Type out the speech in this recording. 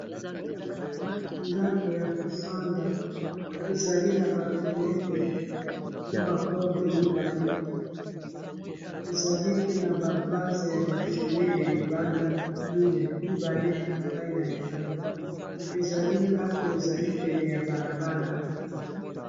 Ndako ya kofanda ezali na ba fenetre na ba porte mibale. Ezali pe na ba vase ya ba fulele libanda mineyi, mibale epai na epai ezali ndako ezali pene ya bala bala.